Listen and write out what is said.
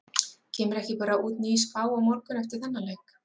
Kemur ekki bara út ný spá á morgun eftir þennan leik?